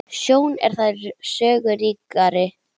Sjón er þar sögu ríkari.